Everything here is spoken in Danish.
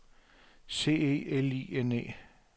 C E L I N E